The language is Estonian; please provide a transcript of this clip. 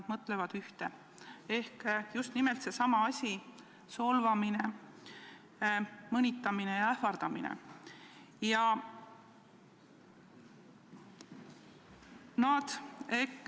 Ja inimesed peavad silmas ühte ehk just nimelt sedasama: solvamist, mõnitamist ja ähvardamist.